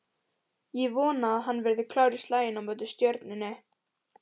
Ég vona að hann verði klár í slaginn á móti Stjörnunni